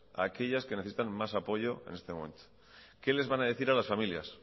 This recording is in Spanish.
a aquellas que necesitan más apoyo en este momento qué les van a decir a las familias